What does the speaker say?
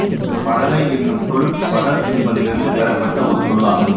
படலை என்னும் சொல்லும் படல் என்பதிலிருந்து பெறப்பட்ட ஒரு சொல்லாகும்